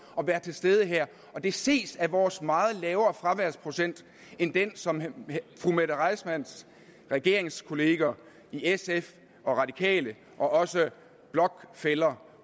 at være til stede her det ses af vores meget lavere fraværsprocent end den som fru mette reissmanns regeringskolleger i sf og radikale og også blokfæller